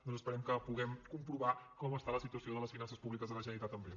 doncs esperem que pu·guem comprovar com està la situació de les finances públiques de la generalitat en breu